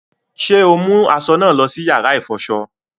Ṣe o mu aṣọ naa lọ sí yàrá ifọṣọ?